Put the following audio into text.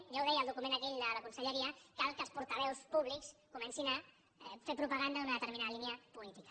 ja ho deia el document aquell de la conselleria cal que els portaveus públics comencin a fer propaganda d’una determinada línia política